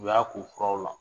U y'a ko o furaw la.